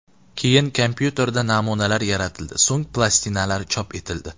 Keyin kompyuterda namunalar yaratildi, so‘ng plastinalar chop etildi.